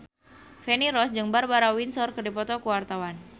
Feni Rose jeung Barbara Windsor keur dipoto ku wartawan